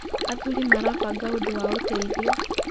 Athuri marabanga ũndũ wa ũteithio.